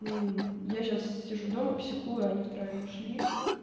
мм я сейчас сижу дома психую они втроём ушли